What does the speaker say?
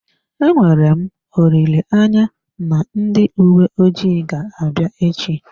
Enwere m olileanya na ndị uwe ojii ga-abịa echi.